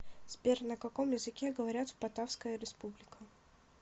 сбер на каком языке говорят в батавская республика